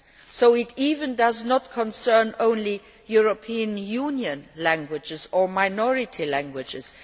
So in fact it does not concern only European Union languages or minority languages.